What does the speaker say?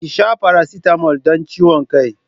Ki sha paracetamol don ciwon kai.